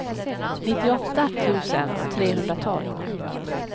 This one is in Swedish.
nittioåtta tusen trehundratolv